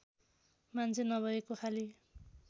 मान्छे नभएको खाली